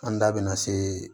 An da bina se